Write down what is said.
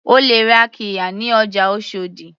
O lè ra qirya ní ọjà oshòdì.